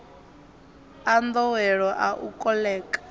a nḓowelo a u koḽeka